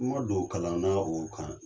N man don kalan na o kan.